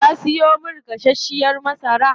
Kaa siyo min gasashiyar masara?